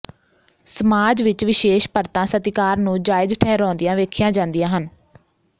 ਸਮਾਜ ਵਿਚ ਵਿਸ਼ੇਸ਼ ਪਰਤਾਂ ਸਤਿਕਾਰ ਨੂੰ ਜਾਇਜ਼ ਠਹਿਰਾਉਂਦੀਆਂ ਵੇਖੀਆਂ ਜਾਂਦੀਆਂ ਹਨ